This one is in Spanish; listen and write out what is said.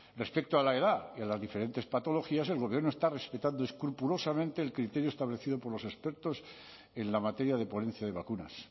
respecto a la edad y a las diferentes patologías el gobierno está respetando escrupulosamente el criterio establecido por los expertos en la materia de ponencia de vacunas